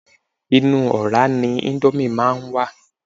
Inú ọ̀rá ni íńdómì máa ń wà.